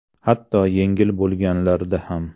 Hatto yengil bo‘lganlarda ham.